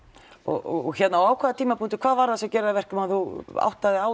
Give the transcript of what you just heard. og hvað var það sem gerði það að verkum að þú áttaðir